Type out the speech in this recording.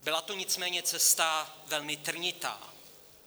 Byla to nicméně cesta velmi trnitá.